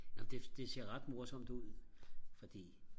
nå men det det ser ret morsomt ud fordi